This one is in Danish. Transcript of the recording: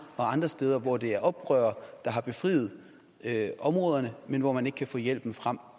og andre steder hvor det er oprørere der har befriet områderne men hvor man ikke kan få hjælpen frem